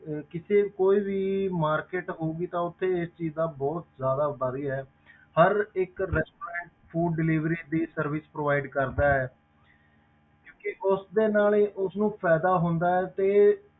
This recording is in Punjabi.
ਅਹ ਕਿਸੇ ਕੋਈ ਵੀ market ਹੋਊਗੀ ਤਾਂ ਉੱਥੇ ਇਸ ਚੀਜ਼ ਦਾ ਬਹੁਤ ਜ਼ਿਆਦਾ ਵੱਧ ਗਿਆ ਹੈ ਹਰ ਇੱਕ restaurantfood delivery ਦੀ service provide ਕਰਦਾ ਹੈ ਕਿਉਂਕਿ ਉਸਦੇ ਨਾਲ ਹੀ ਉਸਨੂੰ ਫ਼ਾਇਦਾ ਹੁੰਦਾ ਹੈ ਤੇ,